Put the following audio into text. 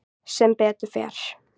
Sem betur fer